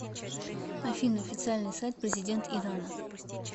афина официальный сайт президент ирана